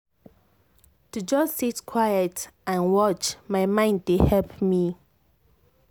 to just sit quiet and watch my mind dey help me.